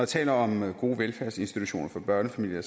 taler om gode velfærdsinstitutioner for børnefamilier